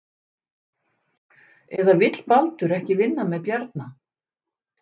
Eða vill Baldur ekki vinna með Bjarna?